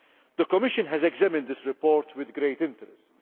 The Commission has examined this report with great interest.